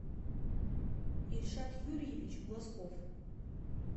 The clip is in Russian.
ильшат юрьевич глазков